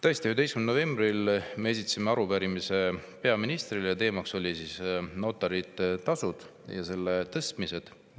Tõesti, 11. novembril me esitasime arupärimise peaministrile ja teemaks oli notarite tasud ja nende tõstmine.